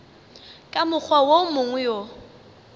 ka mokgwa wo mongwe o